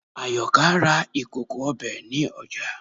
Àyọkà ra ìkòkò ọbẹ̀ ní ọjà